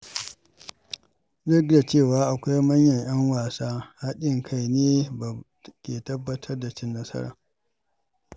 Duk da cewa akwai manyan ‘yan wasa, haɗin kai ne ke tabbatar da cin nasara.